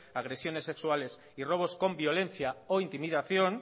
agresiones sexuales y robos con violencia o intimidación